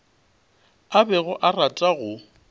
a bego a rata go